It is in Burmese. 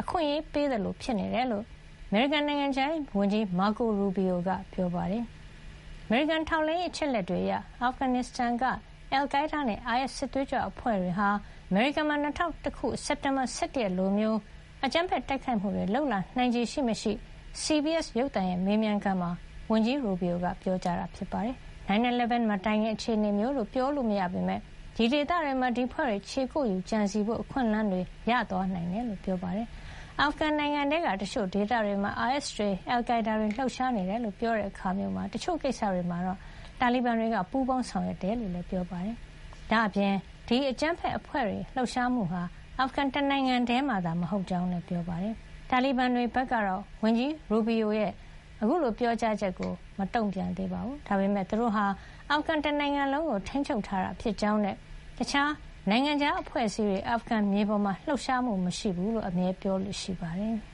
အခွင့်ရေးပေးသလို ဖြစ်နေတယ်လို့ အမေရိကန်နိုင်ငံခြားရေးဝန်ကြီး Marco Rubio က ပြောပါတယ်။ အမေရိကန် ထောက်လှမ်းရေး အချက်အလက်တွေအရ အာဖဂန်နစ္စတန်က အယ်လ်ကိုင်းဒါးနဲ့ အိုင်အက်စ် စစ်သွေးကြွအဖွဲ့တွေဟာ အမေရိကန်မှာ၂၀၀၁ ခု စက်တင်ဘာ ၁၁ ရက်လိုမျိုး အကြမ်းဖက်တိုက်ခိုက်မှုတွေ လုပ်လာနိုင်ခြေ ရှိမရှိ CBS ရုပ်သံရဲ့မေးမြန်းခန်းမှာ ဝန်ကြီး ရူဘီရိုက ပြောကြားခဲ့တာ ဖြစ်ပါတယ်။ 9/11 မတိုင်ခင် အခြေနေမျိုးလို့ ပြောလို့မရပေမယ့် အဲဒီဒေသတွေမှာ ဒီအဖွဲ့တွေ ခြေကုပ်ယူပြီး ကြံစည်ဖို့ အခွင့်အလမ်းတွေ ရသွားနိုင်တယ်လို့ ပြောပါတယ်။ အာဖဂန်နစ်စတန် နိုင်ငံထဲက တချို့ဒေသတွေမှာ အိုင်အက်စ်တွေ အယ်လ်ကိုင်းဒါးတွေ လှုပ်ရှားနေတယ်လို့ ပြောတဲ့ အခါမျိုးမှာ တချို့ကိစ္စတွေမှာ တာလီဘန်တွေက ပူးပေါင်းဆောင်ရွက်မှု ရှိတယ်လို့လည်း ပြောပါတယ်။ ဒါ့အပြင် ဒီအကြမ်းဖက်အဖွဲ့တွေ လှုပ်ရှားမှုဟာ အာဖဂန် တနိုင်ငံထဲမှာသာ မဟုတ်ကြောင်းလည်း ပြောပါတယ်။ တာလီဘန်တွေဘက်ကတော့ ဝန်ကြီး Rubio ရဲ့ ပြောကြားချက်ကို တုံ့ပြန်တာ မရှိသေးပါဘူး။ ဒါပေမဲ့ သူတို့ဟာ အာဖဂန် တနိုင်ငံလုံးကို ထိန်းချုပ်ထားတာဖြစ်ကြောင်းနဲ့ တခြားနိုင်ငံခြား အဖွဲ့အစည်းတွေ အာဖဂန်မြေပေါ်မှာ လှုပ်ရှားမှု မရှိကြောင်း အမြဲပြောလေ့ရှိပါတယ်။